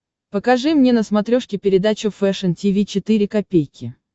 покажи мне на смотрешке передачу фэшн ти ви четыре ка